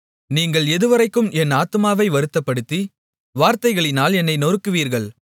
நீங்கள் எதுவரைக்கும் என் ஆத்துமாவை வருத்தப்படுத்தி வார்த்தைகளினால் என்னை நொறுக்குவீர்கள்